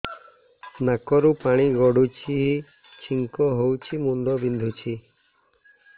ନାକରୁ ପାଣି ଗଡୁଛି ଛିଙ୍କ ହଉଚି ମୁଣ୍ଡ ବିନ୍ଧୁଛି